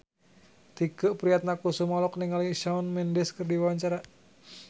Tike Priatnakusuma olohok ningali Shawn Mendes keur diwawancara